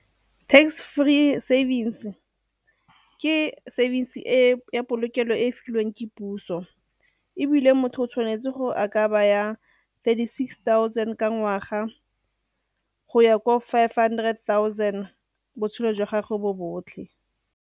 Tax free savings ke savings e ya polokelo e e filweng ke puso ebile motho o tshwanetse gore a ka baya thirty six thousand ka ngwaga go ya ko five hundred thousand botshelo jwa gago bo botlhe.